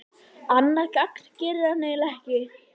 Annað gagn gerir hann eiginlega ekki.